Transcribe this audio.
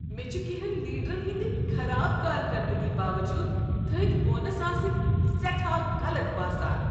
مےٚ چھ کٮ۪نٛہن لیڈرن ہنٛد خراب کارکردگی باوجود تھٔدۍ بونس آسٕنۍ سٮ۪ٹھاہ غلط باسان۔